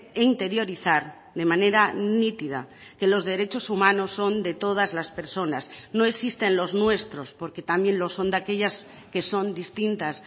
e interiorizar de manera nítida que los derechos humanos son de todas las personas no existen los nuestros porque también lo son de aquellas que son distintas